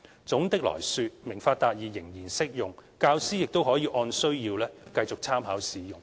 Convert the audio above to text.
總的來說，"明法達義"仍然適用，教師亦可以按需要繼續參考使用。